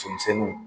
Somisɛnninw